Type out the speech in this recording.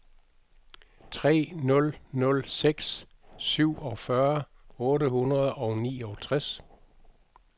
tre nul nul seks syvogfyrre otte hundrede og niogtres